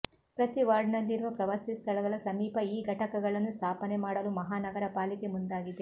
ಪ್ರತಿವಾರ್ಡ್ನಲ್ಲಿರುವ ಪ್ರವಾಸಿ ಸ್ಥಳಗಳ ಸಮೀಪ ಈ ಘಟಕಗಳನ್ನು ಸ್ಥಾಪನೆ ಮಾಡಲು ಮಹಾನಗರ ಪಾಲಿಕೆ ಮುಂದಾಗಿದೆ